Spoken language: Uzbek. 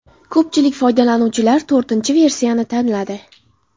Ko‘pchilik foydalanuvchilar to‘rtinchi versiyani tanladi.